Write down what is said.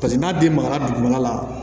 Paseke n'a den magara dugumana la